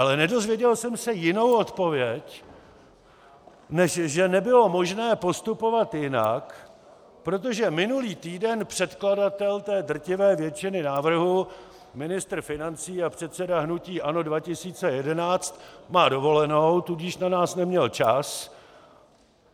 Ale nedozvěděl jsem se jinou odpověď, než že nebylo možné postupovat jinak, protože minulý týden předkladatel té drtivé většiny návrhů, ministr financí a předseda hnutí ANO 2011, má dovolenou, tudíž na nás neměl čas.